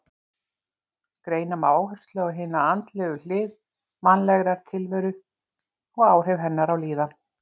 Greina má áherslu á hina andlegu hlið mannlegrar tilveru og áhrif hennar á líðan.